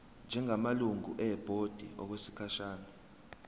njengamalungu ebhodi okwesikhashana